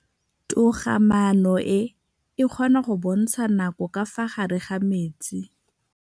Toga-maanô e, e kgona go bontsha nakô ka fa gare ga metsi.